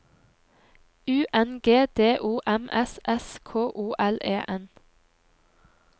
U N G D O M S S K O L E N